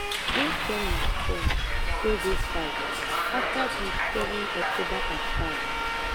im tell im son wey go fight afta di 7 october attacks